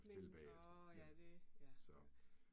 Men åh ja det, ja ja